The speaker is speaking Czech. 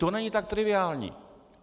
To není tak triviální.